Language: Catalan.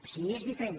sí que és diferent